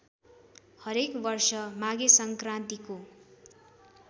हरेक वर्ष माघेसङ्क्रान्तीको